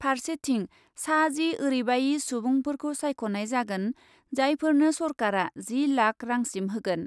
फारसेथिं सा जि ओरैबायि सुबुंफोरखौ सायख'नाय जागोन जायफोरनो सरकारा जि लाख रांसिम होगोन ।